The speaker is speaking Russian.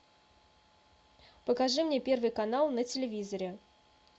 покажи мне первый канал на телевизоре